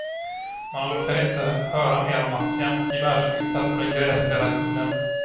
Man orkade inte höra mer om maffian och gevärsskyttar på den gräsklädda kullen.